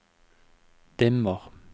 dimmer